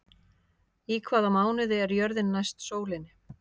Í hvaða mánuði er jörðin næst sólinni?